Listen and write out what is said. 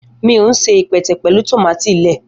Mi o se ipẹtẹ pẹlu tomati lẹẹ